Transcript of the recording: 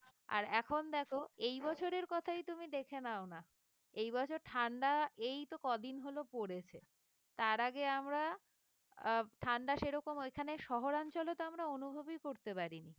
আর এখন দেখো এই বছরের কথাই তুমি দেখে নাও না এই বছর ঠান্ডা এইতো কদিন হলো পড়েছে তার আগে আমরা আহ ঠান্ডা সেরকম ওইখানে শহর অঞ্চলে তো আমরা অনুভবই করতে পারিনি।